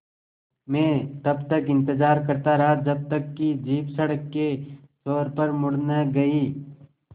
मैं तब तक इंतज़ार करता रहा जब तक कि जीप सड़क के छोर पर मुड़ न गई